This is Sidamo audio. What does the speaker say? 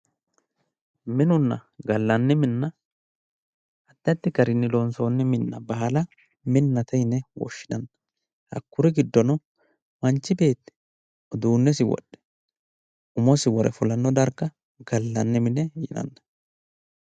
Minunna gallanni mine addi addi garinni loonsonni minna baala minnate yine woshshinanni, hakkuri giddono, manchu beetti uduunnesi wodhe umosi wore fulanno darga gallanni mine yinanni.